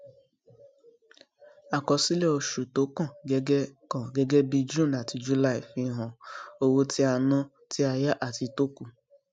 àkọsílẹ oṣù tó kàn gẹgẹ kàn gẹgẹ bí june àti july fihan owó tí a ná tí a yá àti tó kù